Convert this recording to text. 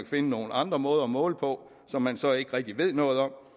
finde nogle andre måder at måle på som man så ikke rigtig ved noget om